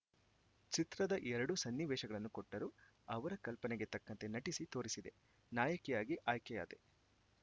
ಚಿತ್ರದ ಎರಡು ಸನ್ನಿವೇಶಗಳನ್ನು ಕೊಟ್ಟರು ಅವರ ಕಲ್ಪನೆಗೆ ತಕ್ಕಂತೆ ನಟಿಸಿ ತೋರಿಸಿದೆ ನಾಯಕಿಯಾಗಿ ಆಯ್ಕೆಯಾದೆ